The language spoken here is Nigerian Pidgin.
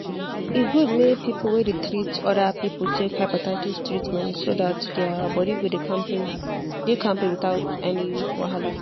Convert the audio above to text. e good make people wey dey treat other people take hepatitis treatment so that their body go dey kampe dey kampe without any wahala.